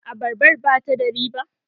abarbar ba ta da riba?